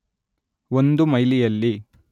ಒಂದು ಮೈಲಿಯಲ್ಲಿ